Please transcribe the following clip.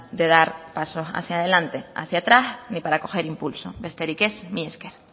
de dar pasos hacia delante hacia atrás ni para coger impulso besterik ez mila esker